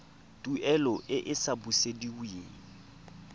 tuelo e e sa busediweng